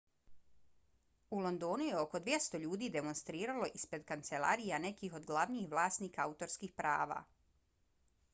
u londonu je oko 200 ljudi demonstriralo ispred kancelarija nekih od glavnih vlasnika autorskih prava